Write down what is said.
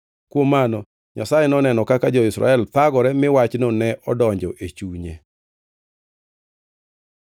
Kuom mano Nyasaye noneno kaka jo-Israel thagore mi wachno ne odonjo e chunye.